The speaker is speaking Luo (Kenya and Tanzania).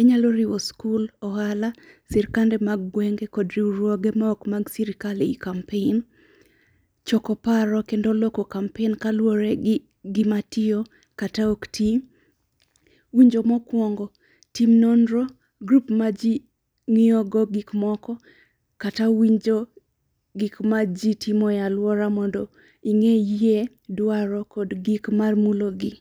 Inyalo riwo skul, ohala, sirkande mag gwenge kod riwruoge ma ok mag sirkal ei kampen. Choko paro kendo loko kampen kaluwore gi gimatiyo kata ok ti. Winjo mokwongo, tim nonro grup ma ji ng'iyo go gikmoko, kata winjo gikma ji timo e alwora mondo ing'iyie dwaro kod gik mamulogi.